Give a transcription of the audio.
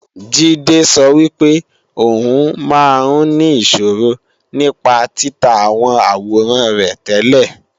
Jídé sọ wípé ò ń máa ń ní ìṣòro nípa títa àwọn àwòrán rẹ tẹ́lẹ̀